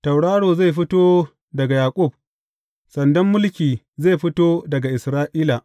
Tauraro zai fito daga Yaƙub; sandan mulki zai fito daga Isra’ila.